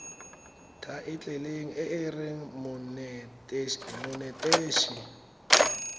thaetlele e e reng monetetshi